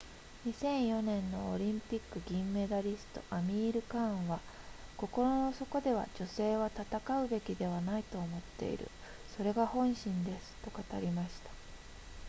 2004年のオリンピック銀メダリストアミールカーンは心の底では女性は戦うべきではないと思っているそれが本心ですと語りました